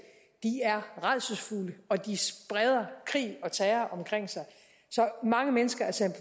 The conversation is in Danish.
de er rædselsfulde og de spreder krig og terror omkring sig så mange mennesker er sendt